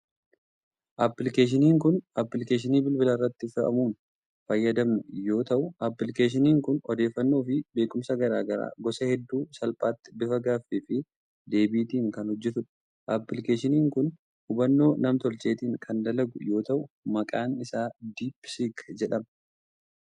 Appilikeeshiniin kun appilikeeshinii bilbila irratti fe'amuun fayyadamnu yoo ta'u, appilikeeshiniin kun odeeffannoo fi beekumsa garaa garaa gosa hedduu salphaatti bifa gaaffii fi deebitiin kan hojjatudha. Appilikeeshiniin kun hubannoo nam tolcheetin kan dalagu yoo ta'u, maqaan isaa Diip Siik jedhama.